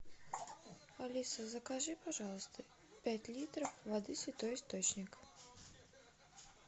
алиса закажи пожалуйста пять литров воды святой источник